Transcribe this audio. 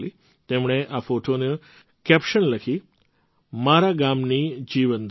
તેમણે આ ફૉટોની કૅપ્શન લખી હતી મારા ગામની જીવનધારા